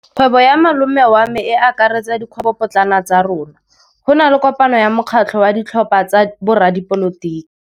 Kgwêbô ya malome wa me e akaretsa dikgwêbôpotlana tsa rona. Go na le kopanô ya mokgatlhô wa ditlhopha tsa boradipolotiki.